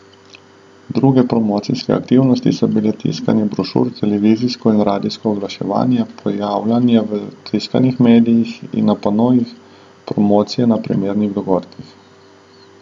Druge promocijske aktivnosti so bile tiskanje brošur, televizijsko in radijsko oglaševanje, pojavljanje v tiskanih medijih in na panojih, promocije na primernih dogodkih.